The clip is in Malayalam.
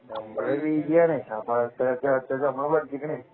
നമ്മൾ പി.ജിയാണ് അപ്പൊ അത്രക്കൊക്കെ നമ്മൾ പഠിച്ചിക്കിന്